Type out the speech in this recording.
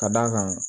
Ka d'a kan